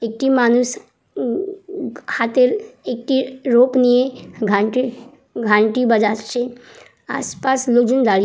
একটি মানুষ উ-ম হাতে একটি রোপ নিয়ে গানটি গানটি বাজাচ্ছে আস পাশ লোকজন দাঁড়িয়ে--